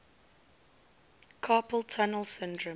carpal tunnel syndrome